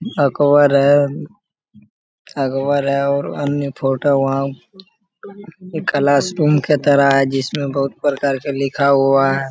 अकबर है अकबर है और अन्य फोटो है वहाँ। एक क्लासरूम की तरह है जिसमें बहुत प्रकार का लिखा हुआ है।